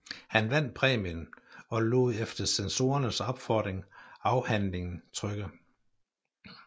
Han vandt præmien og lod efter censorernes opfordring afhandlingen trykke